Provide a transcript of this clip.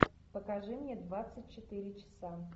покажи мне двадцать четыре часа